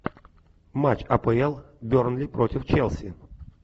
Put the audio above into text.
матч апл бернли против челси